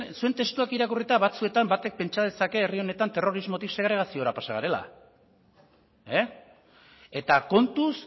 zuen testuak irakurrita batzuetan batek pentsa dezake herri honetan terrorismotik segregaziora pasa garela eta kontuz